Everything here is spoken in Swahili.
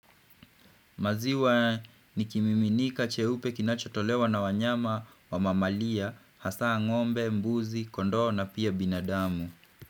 Maziwa ni kimiminika cheupe kinachotolewa na wanyama wa mamalia, hasa ngombe, mbuzi, kondoo na pia binadamu.